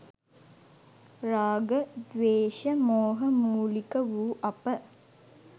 රාග, ද්වේශ, මෝහ මූලික වූ අප